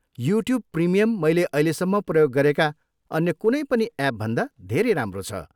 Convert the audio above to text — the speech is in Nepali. युट्युब प्रिमियम मैले अहिलेसम्म प्रयोग गरेका अन्य कुनै पनि एपभन्दा धेरै राम्रो छ।